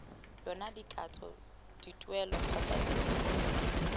yona dikatso dituelo kgotsa dithebolelo